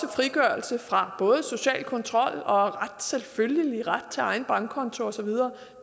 frigørelse fra social kontrol og selvfølgelig en ret til egen bankkonto og så videre